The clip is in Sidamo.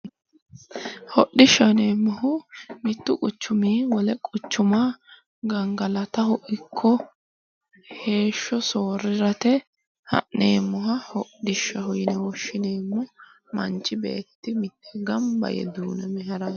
Hodhishaho yineemoho mittu quchumii wole quchuma ganigalataho ikko heesho soorirate ha'neemoha hodhishaho yine woshineemo manichi beeti mitee ganibba yee duuname harawo